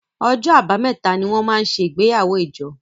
OỌjọ́ Àbàmẹ́ta ní wón món ṣe igbeyawo ijo